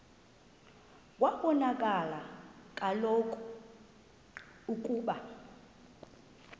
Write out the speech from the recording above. kwabonakala kaloku ukuba